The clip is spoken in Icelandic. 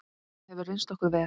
Það hefur reynst okkur vel.